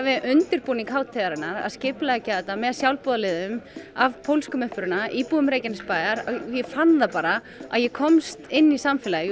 við undirbúning hátíðarinnar að skipuleggja þetta með sjálfboðaliðum af pólskum uppruna íbúum Reykjanesbæjar ég fann það bara að ég komst inn í samfélagið